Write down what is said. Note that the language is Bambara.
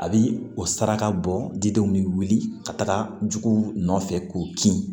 A bi o saraka bɔ didenw ni wulili ka taga juguw nɔfɛ k'u kin